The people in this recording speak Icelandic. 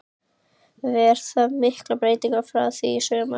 Verða miklar breytingar frá því í sumar?